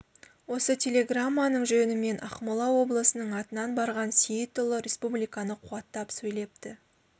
осы телеграмманың жөнімен ақмола облысының атынан барған сейітұлы республиканы қуаттап сөйлепті